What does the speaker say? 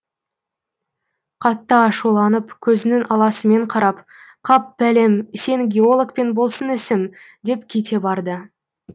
қатты ашуланып көзінің аласымен қарап қап бәлем сен геологпен болсын ісім деп кете барды